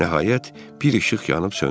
Nəhayət, bir işıq yanıb söndü.